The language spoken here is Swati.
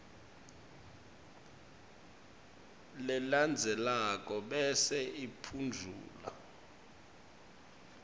lelandzelako bese uphendvula